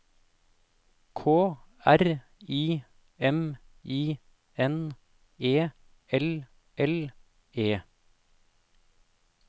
K R I M I N E L L E